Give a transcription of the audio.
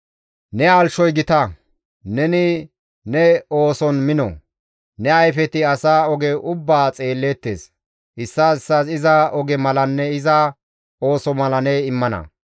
Ne halchchoy gita; neni ne ooson mino; ne ayfeti asa oge ubbaa xeelleettes; issaas issaas iza oge malanne iza ooso mala ne immana.